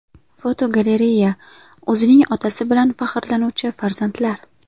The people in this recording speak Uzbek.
Fotogalereya: O‘zining otasi bilan faxrlanuvchi farzandlar.